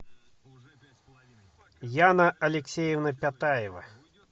яна алексеевна пятаева